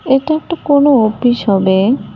এটা একটা কোনো অফিস হবে।